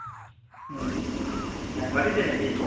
আচ্ছা। বাড়িতে নাকি?